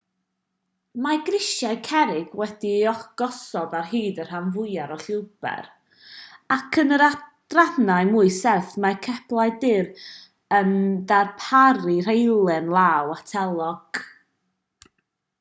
mae grisiau cerrig wedi'u gosod ar hyd y rhan fwyaf o'r llwybr ac yn yr adrannau mwy serth mae ceblau dur yn darparu rheilen law ategol